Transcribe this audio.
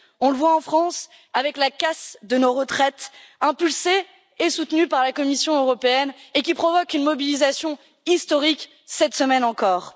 Nous le voyons en France avec la casse de nos retraites, impulsée et soutenue par la Commission européenne et qui provoque une mobilisation historique, cette semaine encore.